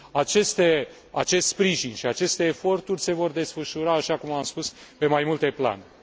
Acest sprijin și aceste eforturi se vor desfășura, așa cum spus, pe mai multe planuri.